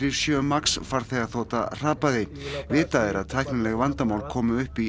sjö Max farþegaþota hrapaði vitað er að tæknileg vandamál komu upp í